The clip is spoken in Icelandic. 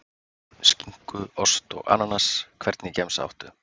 Skinku, ost og ananas Hvernig gemsa áttu?